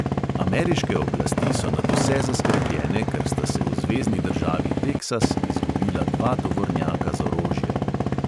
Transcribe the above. Ameriške oblasti so nadvse zaskrbljene, ker sta se v zvezni državi teksas izgubila dva tovornjaka z orožjem.